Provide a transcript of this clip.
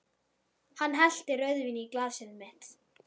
Hann hellti rauðvíni í glasið mitt.